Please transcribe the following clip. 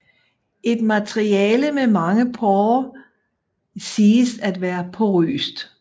Et materiale med mange porer siges at være porøst